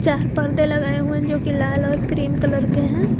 चार पर्दे लगाए हुए हैं जो की लाल और क्रीम कलर के हैं।